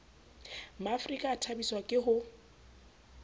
maafrika a thabiswa ke ho